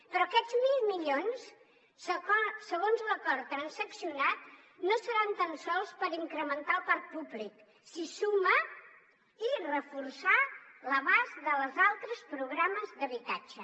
però aquests mil milions segons l’acord transaccionat no seran tan sols per incrementar el parc públic s’hi suma i reforçar l’abast dels altres programes d’habitatge